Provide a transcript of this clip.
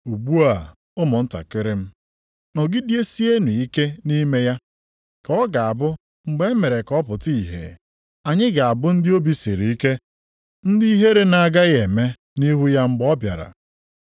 Ugbu a ụmụntakịrị m, nọgidesienụ ike nʼime ya, ka ọ ga-abụ mgbe e mere ka ọ pụta ìhè, anyị ga-abụ ndị obi siri ike, ndị ihere na-agaghị eme, nʼihu ya mgbe ọ bịara.